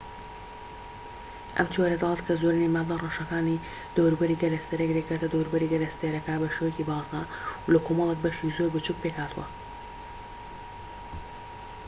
ئەم تیۆرە دەڵێت کە زۆرینەی مادە ڕەشەکانی دەوروبەری گەلەستێرەیەک دەکەوێتە دەوروبەری گەلەستێرەکە بە شیوەی بازنە و لە کۆمەڵێک بەشی زۆر بچووك پێکهاتووە